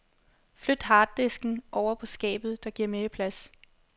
Flyt harddisken ovre på skabet, det giver mere plads.